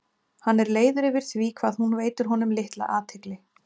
Hann er leiður yfir því hvað hún veitir honum litla athygli.